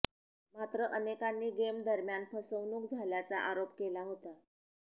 मात्र अनेकांनी गेम दरम्यान फसवणूक झाल्याचा आरोप केला होता